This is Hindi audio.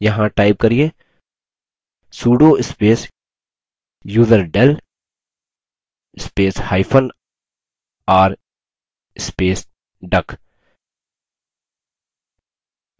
यहाँ type करिये sudo space userdel spacehyphen r space duck